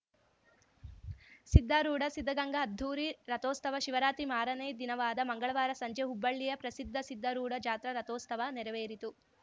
ಸಿದ್ಧಾರೂಢ ಸಿದ್ಧಗಂಗಾ ಅದ್ಧೂರಿ ರಥೋಸ್ತವ ಶಿವರಾತ್ರಿ ಮಾರನೇ ದಿನವಾದ ಮಂಗಳವಾರ ಸಂಜೆ ಹುಬ್ಬಳ್ಳಿಯ ಪ್ರಸಿದ್ಧ ಸಿದ್ಧಾರೂಢ ಜಾತ್ರಾ ರಥೋಸ್ತವ ನೆರವೇರಿತು